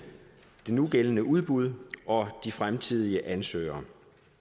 nugældende udbud og de fremtidige ansøgere